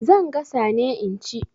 Zan gasa ne in ci.